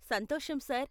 సంతోషం సార్.